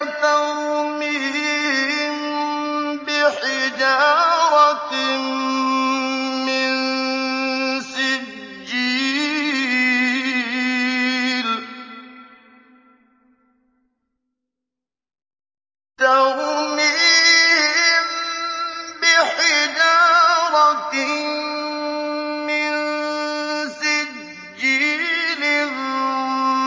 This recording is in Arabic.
تَرْمِيهِم بِحِجَارَةٍ مِّن سِجِّيلٍ